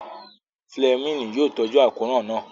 Fúlẹ́mìnì yóò tọ́jú àkóràn náà